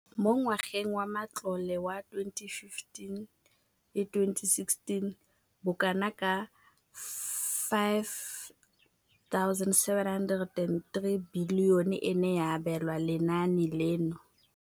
Mo ngwageng wa matlole wa 2015,16, bokanaka R5 703 bilione e ne ya abelwa lenaane leno.